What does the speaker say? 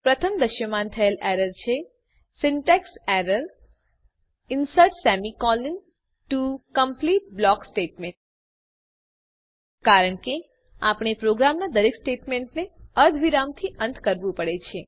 પ્રથમ દ્રશ્યમાન થયેલ એરર છે syntax error insert semi colon to complete block statements કારણ કે આપણે પ્રોગ્રામનાં દરેક સ્ટેટમેંટને અર્ધવિરામથી અંત કરવું પડે છે